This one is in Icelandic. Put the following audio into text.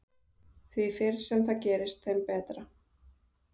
Því fyrr sem það gerist þeim betra.